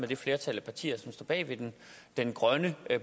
det flertal af partier som står bag den grønne